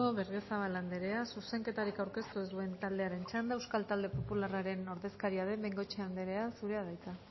berriozabal andrea zuzenketari aurkeztu ez duen taldearen txanda euskal talde popularren ordezkaria den bengoechea andrea zurea da hitza